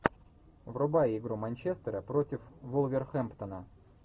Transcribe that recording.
врубай игру манчестера против вулверхэмптона